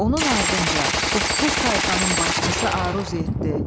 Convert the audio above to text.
Onun ardınca doqquz tayfanın başçısı Aruz getdi.